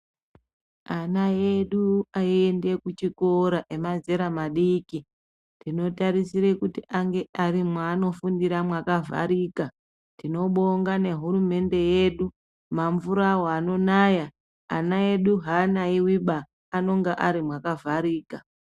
Ana edu aende kuchikora emazera madiki, tinotarisira kuti ange ari mwaanofundira mwakavhurika. Tinobonga nehurumende yedu, mamvura awa anonaya vana vedu havanayiwiba anonga ari mwakavharika.